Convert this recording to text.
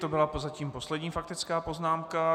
To byla prozatím poslední faktická poznámka.